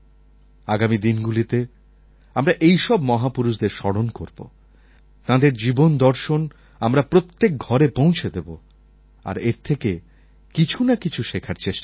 আগামী দিনগুলিতে আমরা এই সব মহাপুরুষদের স্মরণ করবো তাঁদের জীবন দর্শন আমরা প্রত্যেক ঘরে পৌঁছে দেবো আর এর থেকে কিছু না কিছু শেখার চেষ্টা করবো